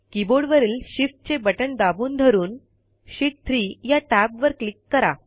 कीबोर्डवरील शिफ्टचे बटण दाबून धरून शीत 3 या टॅबवर क्लिक करा